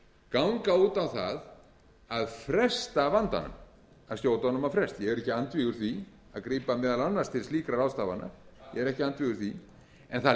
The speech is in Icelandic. ganga út á það að fresta vandanum að skjóta honum á frest ég er ekki andvígur því að grípa meðal annars til slíkra ráðstafana ég er ekki andvígur því en það